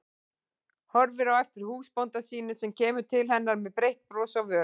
Horfir á eftir húsbónda sínum sem kemur til hennar með breitt bros á vörunum.